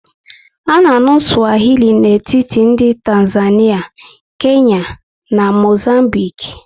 A na anụ Swahili n'etiti ndị Tanzania, Kenya na Mozambique